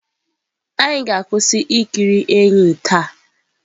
Anyị ga-akwụsị ikiri enyí taa.